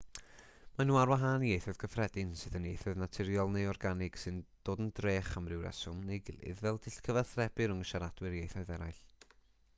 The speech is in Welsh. maen nhw ar wahân i ieithoedd cyffredin sydd yn ieithoedd naturiol neu organig sy'n dod yn drech am ryw reswm neu'i gilydd fel dull cyfathrebu rhwng siaradwyr ieithoedd eraill